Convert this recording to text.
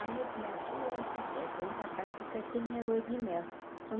Aí eu falei, ah chega nessa festa, vamos para casa que eu quero ter minha lua de mel.